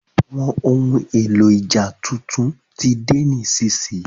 Àwọn ohun èlò ìjà tuntun tí de nísinsìnyí